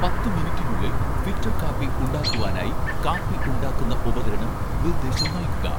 പത്ത് മിനുട്ടിനുള്ളിൽ ഫിൽറ്റർ കാപ്പി ഉണ്ടാക്കുവാനായി കാപ്പി ഉണ്ടാക്കുന്ന ഉപകരണം നിർദ്ദേശം നൽകുക